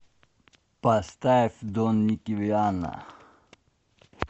поставь дон никки вианна